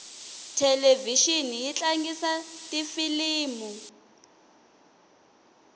thelevixini yi tlangisa tifilimu